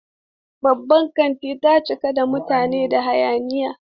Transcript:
Babban kantin ta cika da mutane da hayaniya.